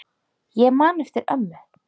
Ég man eftir ömmu.